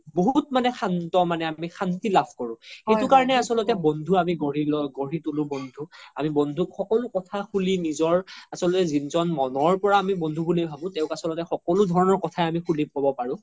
বহুত মানে খন্ত মানে খন্তি লাভ কৰো সেইতো কাৰনতে আচল্তে আমি বন্ধু গঢ়ি লও গঢ়ি তোলো বন্ধু আমি বন্ধুক সকলো কথা খুলি নিজৰ আচলতে যিজ্ন আমি মনৰ পোৰা বন্ধু বুলি ভাবো তেও আচল্তে সকলো ধৰণৰ কথায়ে আমি খুলি ক্'ব পাৰো